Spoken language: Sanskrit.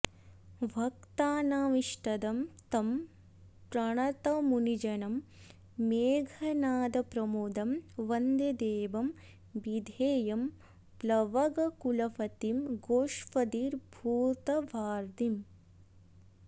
भक्तानामिष्टदं तं प्रणतमुनिजनं मेघनादप्रमोदं वन्दे देवं विधेयं प्लवगकुलपतिं गोष्पदीभूतवार्धिम्